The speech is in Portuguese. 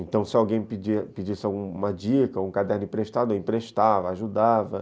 Então, se alguém pedisse pedisse uma dica, um caderno emprestado, eu emprestava, ajudava.